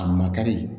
A ma kari